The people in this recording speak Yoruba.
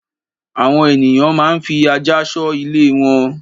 Àwọn ènìyàn máa ń fi ajá ṣọ́ ilé wọn.